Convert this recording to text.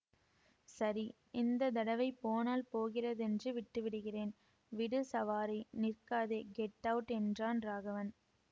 சரி இந்த தடவை போனால் போகிறதென்று விட்டு விடுகிறேன் விடு சவாரி நிற்காதே கெட் அவுட் என்றான் ராகவன்